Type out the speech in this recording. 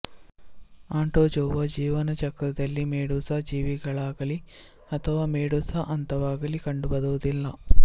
Anthozoa ಜೀವನ ಚಕ್ರದಲ್ಲಿ medusa ಜೀವಿಗಳಾಗಲಿ ಅಥವಾ ಮೆಡುಸಾ ಹಂತವಾಗಲಿ ಕಂಡುಬರುವುದಿಲ್ಲ